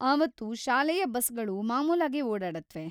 ಆವತ್ತು ಶಾಲೆಯ ಬಸ್‌ಗಳು ಮಾಮೂಲಾಗೇ ಓಡಾಡತ್ವೆ.